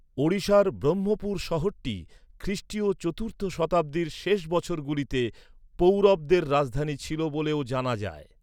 ওড়িশার ব্রহ্মপুর শহরটি খ্রিষ্টীয় চতুর্থ শতাব্দীর শেষ বছরগুলিতে পৌরবদের রাজধানী ছিল বলেও জানা যায়।